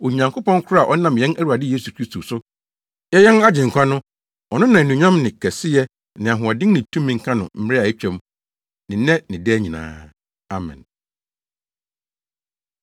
Onyankopɔn koro a ɔnam yɛn Awurade Yesu Kristo so yɛ yɛn Agyenkwa no, ɔno na anuonyam ne kɛseyɛ ne ahoɔden ne tumi nka no mmere a atwam, ne nnɛ ne daa nyinaa. Amen.